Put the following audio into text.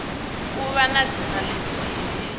u vha na dzina lithihi